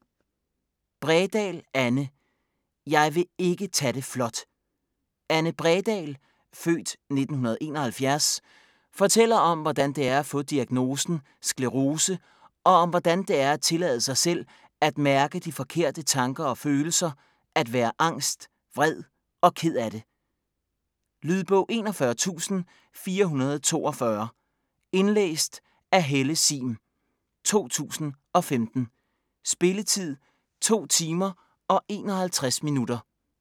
Bredahl, Anne: Jeg vil ikke tage det flot Anne Bredahl (f. 1971) fortæller om hvordan det er at få diagnosen sklerose, og om hvordan det er at tillade sig selv at mærke de forkerte tanker og følelser; at være angst, vred og ked af det. Lydbog 41442 Indlæst af Helle Sihm, 2015. Spilletid: 2 timer, 51 minutter.